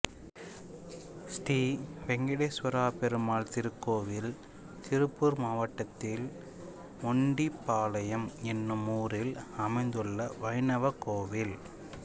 ஸ்ரீ வெங்கடேஸ்வர பெருமாள் திருக்கோவில் திருப்பூர் மாவட்டத்தின் மொண்டிபாளையம் என்னும் ஊரில் அமைந்துள்ள வைணவ கோவில்